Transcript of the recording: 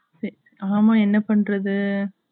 ஆமா என்ன பண்றது